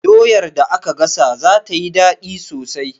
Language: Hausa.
Doyar da aka gasa za tayi daɗi sosai